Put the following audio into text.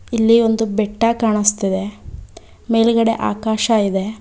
ಇಲ್ಲಿ ಒಂದು ಬೆಟ್ಟ ಕಾಣಸ್ತಾಯಿದೆ ಮೇಲ್ಗಡೆ ಆಕಾಶ ಇದೆ.